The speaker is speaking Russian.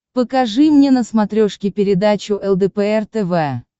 покажи мне на смотрешке передачу лдпр тв